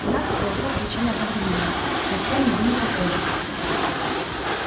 двенадцать голосов кричали одновременно но все они были похожи